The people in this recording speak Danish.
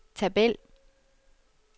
tabel